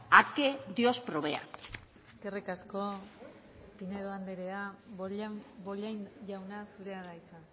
a que dios provea eskerrik asko pinedo andrea bollain jauna zurea da hitza